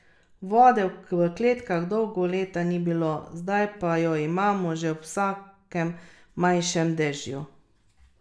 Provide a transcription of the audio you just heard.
Vode v kleteh dolga leta ni bilo, zdaj pa jo imamo že ob vsakem manjšem dežju.